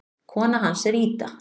Kona hans er Ida.